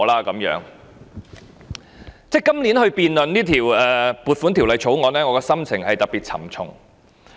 今年辯論這項撥款條例草案，我的心情特別沉重。